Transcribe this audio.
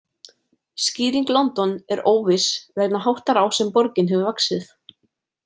Skýring London er óviss vegna háttar á sem borgin hefur vaxið.